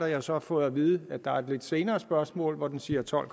jeg har så fået at vide at der er et lidt senere spørgsmål hvor den siger tolv